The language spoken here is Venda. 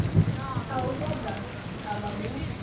a u koḓa thanga hu